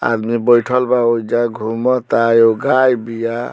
आदमी बइठल बा ओइजा घुमा ता एगो गाय बिया।